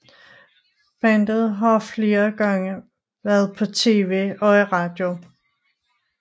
Bandet har flere gange været på TV og i radio